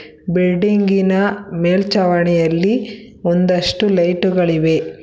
ಬಿಲ್ಡಿಂಗಿನ ಮೇಲ್ಚಾವಣಿಯಲ್ಲಿ ಒಂದಷ್ಟು ಲೈಟು ಗಳಿವೆ.